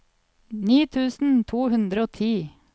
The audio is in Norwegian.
ni tusen to hundre og ti